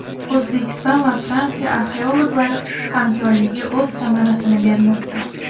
O‘zbekiston va Fransiya arxeologlari hamkorligi o‘z samarasini bermoqda.